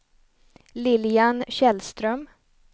Lilian Källström